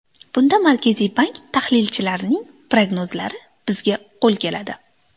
Bunda Markaziy bank tahlilchilarining prognozlari bizga qo‘l keladi.